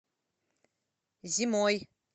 зимой